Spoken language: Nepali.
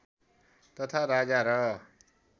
तथा राजा र